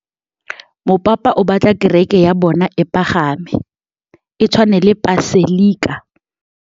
Mopapa o batla kereke ya bone e pagame, e tshwane le paselika.